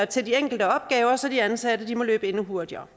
til de enkelte opgaver så de ansatte må løbe endnu hurtigere